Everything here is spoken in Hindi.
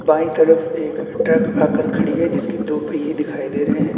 बाईं तरफ एक ट्रक आकर खड़ी है जिसकी दोपहिये दिखाई दे रहे है।